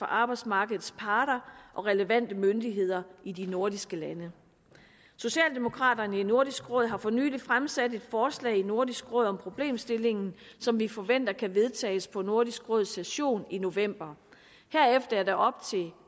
arbejdsmarkedets parter og relevante myndigheder i de nordiske lande socialdemokraterne i nordisk råd har for nylig fremsat et forslag i nordisk råd om problemstillingen som vi forventer kan vedtages på nordisk råds session i november herefter er det op til